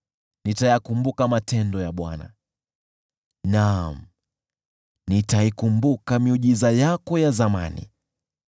Nitayakumbuka matendo ya Bwana ; naam, nitaikumbuka miujiza yako ya zamani.